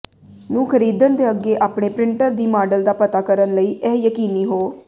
ਨੂੰ ਖਰੀਦਣ ਦੇ ਅੱਗੇ ਆਪਣੇ ਪ੍ਰਿੰਟਰ ਦੀ ਮਾਡਲ ਦਾ ਪਤਾ ਕਰਨ ਲਈ ਇਹ ਯਕੀਨੀ ਹੋ